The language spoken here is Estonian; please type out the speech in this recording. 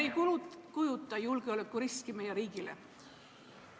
... isiklikult ei kujuta endast julgeolekuriski meie riigile?